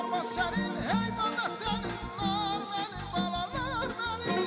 Amma sənin, heyvanat sənin, nar mənim, balalar mənim.